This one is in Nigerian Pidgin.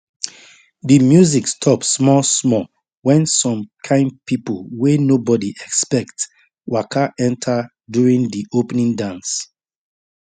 di music stop smallsmall when some kain people wey nobody expect waka enter during di opening dance